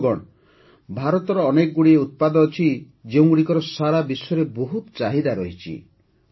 ବନ୍ଧୁଗଣ ଭାରତର ଅନେକଗୁଡ଼ିଏ ଉତ୍ପାଦ ଅଛି ଯେଉଁଗୁଡ଼ିକର ସାରା ବିଶ୍ୱରେ ବହୁତ ଚାହିଦା ରହିଛି